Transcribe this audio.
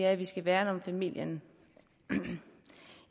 at vi skal værne om familien